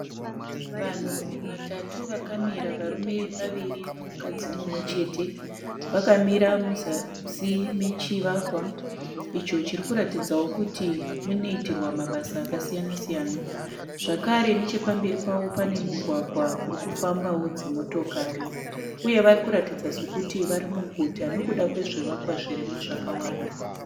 Vanhu vatatu vakamira, varume vaviri nemukadzi mumwe chete. Vakamira muzasi mechivakwa icho chiri kuratidzawo kuti munoitirwa mabasa akasiyana -siyana. Zvakare nechepamberi pawo pane mugwagwa uri kufambawo dzimotokari uye vari kuratidza sokuti vari muguta nekuda kwezvivakwa zvirimo zvakawanda.